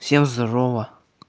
всем здорово